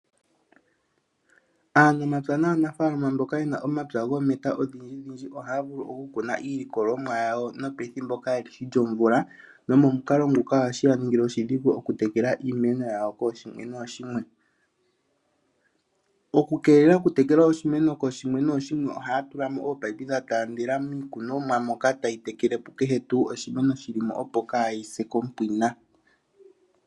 Aanamapya aanafaalama mboka yene omapya goometa odhidjidhidji ohaya vulu oku kuna iikunonwa yawo nopethimbo kaalishi lyomvula, nomomukolo nguka ohagu yaningile oshidhigu okutekela iimeno yawo kooshimwe nooshimwe. Okukeelela okutekela oshimeno kooshimwe nooshimwe ohaya tulamo oopayipi dhataandela miikunonwa moka tayi tekelepo kehe tuu oshimeni shili mo opo kaashisepo kompwina.